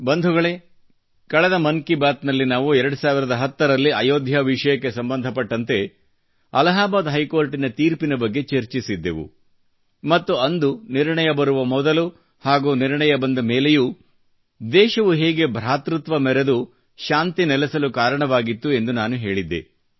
ಬಂಧುಗಳೆ ಕಳೆದ ಮನ್ ಕಿ ಬಾತ್ ನಲ್ಲಿ ನಾವು 2010 ರಲ್ಲಿ ಅಯೋಧ್ಯಾ ವಿಷಯಕ್ಕೆ ಸಂಬಂಧ ಪಟ್ಟಂತೆ ಅಲಾಹಾಬಾದ್ ಹೈಕೋರ್ಟನ ತೀರ್ಪಿನ ಬಗ್ಗೆ ಚರ್ಚಿಸಿದ್ದೆವು ಮತ್ತು ಅಂದು ನಿರ್ಣಯ ಬರುವ ಮೊದಲು ಹಾಗೂ ನಿರ್ಣಯ ಬಂದ ಮೇಲೆಯೂ ದೇಶವು ಹೇಗೆ ಭ್ರಾತೃತ್ವ ಮೆರೆದು ಶಾಂತಿ ನೆಲೆಸಲು ಕಾರಣವಾಗಿತ್ತು ಎಂದು ನಾನು ಹೇಳಿದ್ದೆ